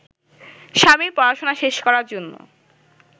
স্বামীর পড়াশোনা শেষ করার জন্য